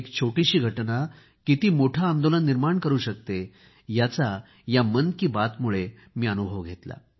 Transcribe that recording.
एक छोटीशी घटना किती मोठी चळवळ निर्माण करू शकते याचा या मन की बातमुळे मी अनुभव घेतला